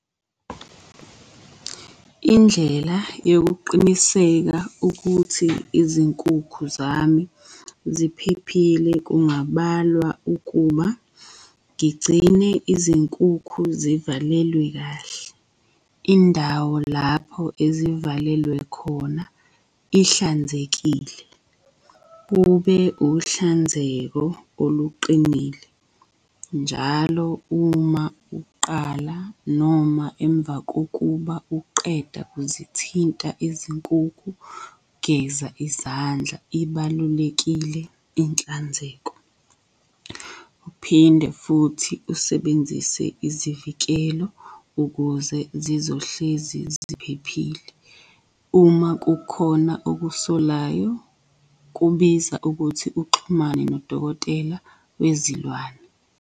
Indlela yokuqiniseka ukuthi izinkukhu zami ziphephile kungabalwa ukuba ngigcine izinkukhu zivalelwe kahle. Indawo lapho ezivalelwe khona ihlanzekile, kube uhlanzeko oluqinile. Njalo uma uqala noma emva kokuba uqeda uzithinta izinkukhu, geza izandla, ibalulekile inhlanzeko. Uphinde futhi usebenzise izivikelo ukuze zizohlezi ziphephile. Uma kukhona okusolayo kubiza ukuthi uxhumane nodokotela wezilwane.